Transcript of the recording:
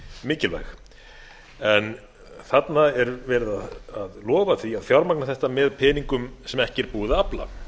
mikilvæg en þarna er verið að lofa því að fjármagna þetta með peningum sem ekki er búið að afla